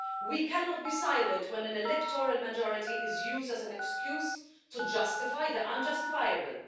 We cannot be silent when an electoral majority is used as an excuse to justify the unjustifiable.